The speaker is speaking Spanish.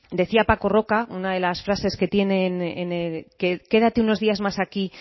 decía paco roca una de las frases que tiene quédate unos días más aquí